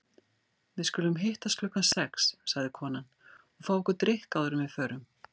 Við skulum hittast klukkan sex, sagði konan, og fá okkur drykk áður en við förum.